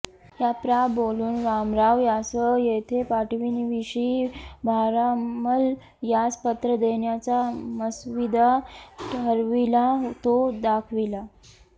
या प्रा बोलून रामराव यांस येथें पाठविण्याविषी भारामल यास पत्र देण्याचा मसविदा ठराविला तो दाखविला